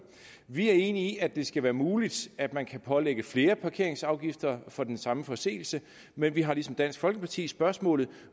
vi er enige i at det skal være muligt at man kan pålægge flere parkeringsafgifter for den samme forseelse men vi har ligesom dansk folkeparti spørgsmålet